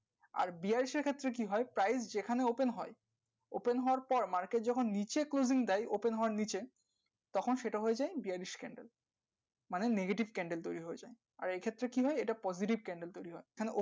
আর bearish এর ক্ষেত্রে কি হয় price যেখানে open হয় open হয় open হবার পর market যখন নিচে closing দেয় open হবার নিচে তখন সেটা হয়ে যাই bearish candle মানে negative candle তৈরি হয়ে যায় আর এই ক্ষেত্রে কি হয় এটা positive candle তৈরী হয়